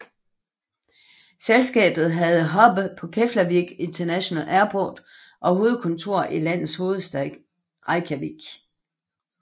Selskabet havde hub på Keflavík International Airport og hovedkontor i landets hovedstad Reykjavík